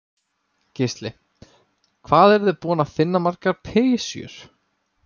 Gísli: Hvað eruð þið búin að finna margar pysjur?